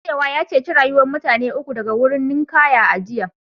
Mai nutsewa ya ceci rayukan mutane uku daga wurin ninkaya a jiya